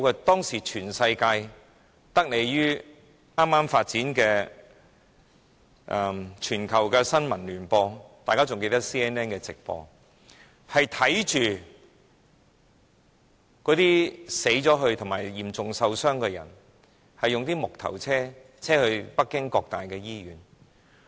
當時全世界的人得利於剛剛發展的全球新聞聯播——我相信大家還記得 CNN 的直播——都看到那些死去及嚴重受傷的人，被木頭車載到北京各大醫院。